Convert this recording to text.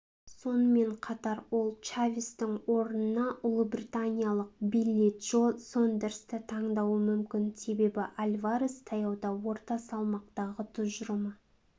сонымен қатар ол чавестің орнына ұлыбританиялық билли джо сондерсті таңдауы мүмкін себебі альварес таяуда орта салмақтағы тұжырымы